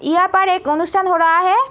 यहां पर एक अनुष्टान हो रहा है|